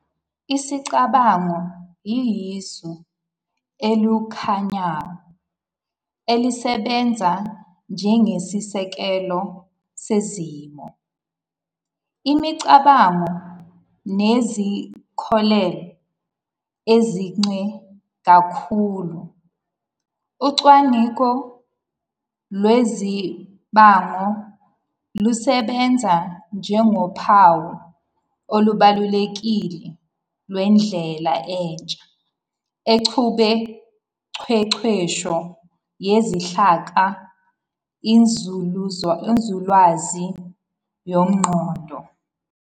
Isicabango siyisu eliwumkhanyango elisebenza njengesisekelo sezimiso, imicabango nezinkolelo eziqine kakhulu. Ucwaningo lwezicabango lusebenze njengophawu olubalulekile lwendlela entsha exubuqeqesho yezinhlaka, Inzululwazi yomqondo.